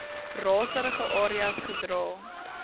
raserige areas gedra